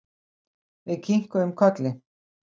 Við kinkuðum kolli.